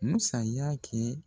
U bɛ sanmiya kɛ